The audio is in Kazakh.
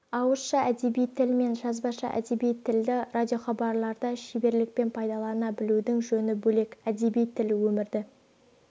ауызша әдеби тіл мен жазбаша әдеби тілді радиохабарларда шеберлікпен пайдалана білудің жөні бөлек әдеби тіл өмірді